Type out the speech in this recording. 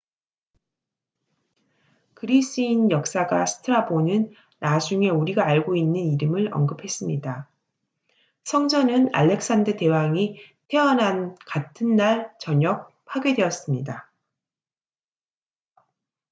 그리스인 역사가 스트라본은 나중에 우리가 알고 있는 이름을 언급했습니다 성전은 알렉산더 대왕이 태어난 같은 날 저녁 파괴되었습니다